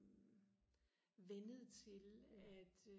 vænnet til at